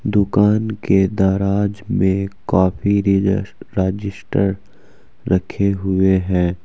दुकान के दराज में काफी रिजस रजिस्टर रखे हुए हैं।